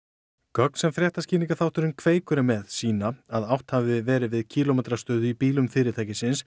gögn sem fréttaskýringaþátturinn Kveikur er með sýna að átt hafi verið við kílómetrastöðu í bílum fyrirtækisins